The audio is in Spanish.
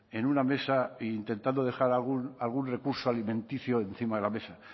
en una mesa e intentando dejar algún recurso alimenticio encima de la mesa